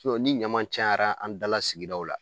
Sinɔn ni ɲama cayara an dala sigidaw la